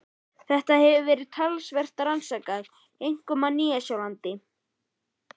Þetta hefur verið talsvert rannsakað, einkum á Nýja-Sjálandi.